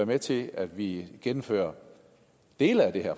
med til at vi gennemfører dele af det her